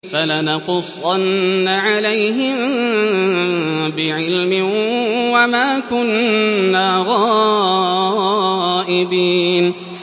فَلَنَقُصَّنَّ عَلَيْهِم بِعِلْمٍ ۖ وَمَا كُنَّا غَائِبِينَ